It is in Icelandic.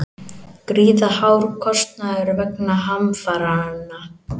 Gríðarhár kostnaður vegna hamfaranna